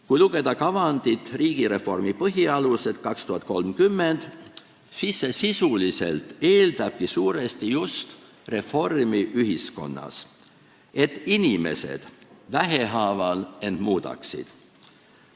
Kui lugeda kavandit "Riigireformi põhialused 2030", siis on näha, et see sisuliselt eeldabki suuresti just reformi ühiskonnas, seda, et inimesed vähehaaval end muudaksid.